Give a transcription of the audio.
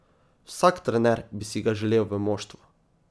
Vsak trener bi si ga želel v moštvu.